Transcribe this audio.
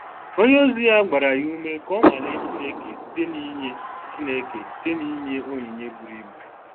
Onye ozi ya gbara ya ume ka o nwalee Chineke site n’inye Chineke site n’inye onyinye buru ibu.